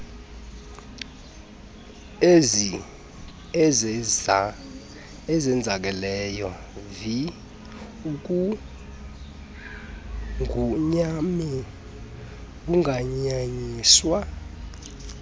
ezenzakeleyo vi ukunqunyanyiswa